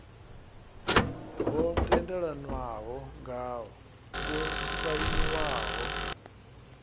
ho tendelanwaho ngao yo sainiwaho